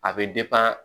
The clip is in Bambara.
A bɛ